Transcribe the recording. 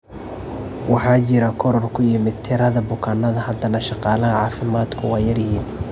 Waxaa jira koror ku yimid tirada bukaannada, haddana shaqaalaha caafimaadku waa yar yihiin.